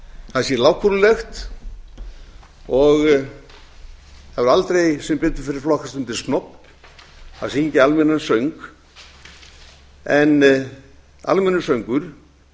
það sé lágkúrulegt það hefur aldrei sem betur fer flokkast undir snobb að syngja almennan söng en almennur söngur